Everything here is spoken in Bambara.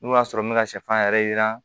N'o y'a sɔrɔ n bɛ ka sɛfan yɛrɛ yiran